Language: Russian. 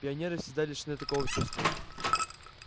пионеры всегда лишены такого чувства